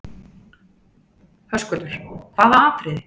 Höskuldur: Hvaða atriðið?